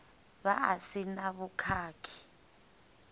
vha a si na vhukhakhi